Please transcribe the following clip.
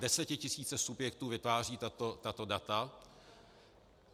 Desetitisíce subjektů vytvářejí tato data.